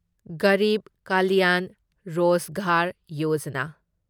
ꯒꯔꯤꯕ ꯀꯂ꯭ꯌꯥꯟ ꯔꯣꯖꯒꯥꯔ ꯌꯣꯖꯥꯅꯥ